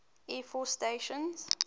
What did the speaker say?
air force station